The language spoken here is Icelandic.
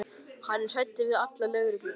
Hann er hræddur við alla lögreglumenn.